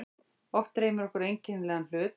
Oft dreymir okkur einkennilega hlut.